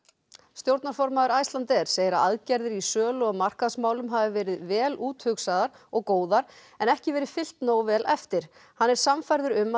stjórnarformaður Icelandair segir að aðgerðir í sölu og markaðsmálum hafi verið vel úthugsaðar og góðar en ekki verið fylgt nógu vel eftir hann er sannfærður um